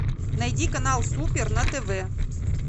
найди канал супер на тв